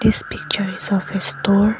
this picture is of a store.